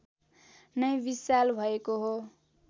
नै विशाल भएको हो